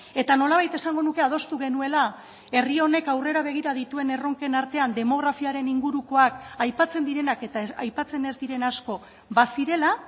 eta nolabait esango nuke adostu genuela herri honek aurrera begira dituen erronken artean demografiaren ingurukoak aipatzen direnak eta aipatzen ez diren asko bazirela